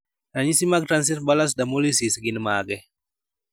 Ranyisi mag"Transient bullous dermolysis" gin mage?